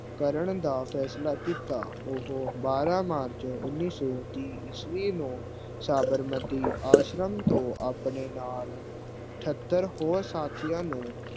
ਕਰਨ ਦਾ ਫੈਸਲਾ ਕੀਤਾ। ਉਹ ਬਾਰਹ march ਉਨੀ ਸੋ ਤੀਹ ਈਸਵੀ ਨੂੰ ਸਾਬਰਮਤੀ ਆਸ਼ਰਮ ਤੋਂ ਆਪਣੇ ਨਾਲ ਅਠਤਰ ਹੋਰ ਸਾਥੀਆਂ ਨੂੰ